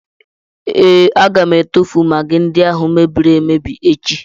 Ee, aga m atụfu magị ndị ahụ e mebiri emebi echi.